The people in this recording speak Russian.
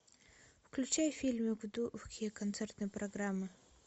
включай фильмы в духе концертной программы